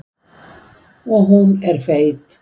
Og hún er feit.